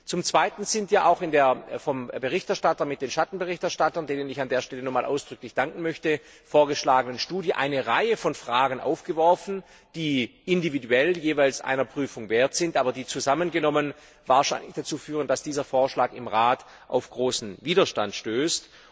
Zum Zweiten sind ja auch in der vom Berichterstatter mit den Schattenberichterstattern denen ich an dieser Stelle nochmals ausdrücklich danken möchte vorgeschlagenen Studie eine Reihe von Fragen aufgeworfen worden, die individuell jeweils einer Prüfung wert sind, die zusammengenommen aber wahrscheinlich dazu führen, dass dieser Vorschlag im Rat auf großen Widerstand stößt.